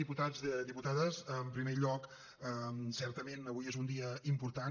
diputats diputades en primer lloc certament avui és un dia important